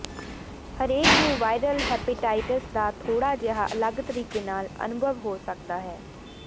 ਹਰੇਕ ਨੂੰ viral hepatitis ਦਾ ਥੋੜ੍ਹਾ ਜਿਹਾ ਅਲੱਗ ਤਰੀਕੇ ਨਾਲ ਅਨੁਭਵ ਹੋ ਸਕਦਾ ਹੈ